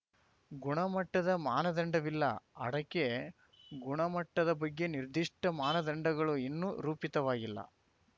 ಗುಣಮಟ್ಟದ ಮಾನದಂಡವಿಲ್ಲ ಅಡಕೆ ಗುಣಮಟ್ಟದ ಬಗ್ಗೆ ನಿರ್ದಿಷ್ಟಮಾನದಂಡಗಳು ಇನ್ನೂ ರೂಪಿತವಾಗಿಲ್ಲ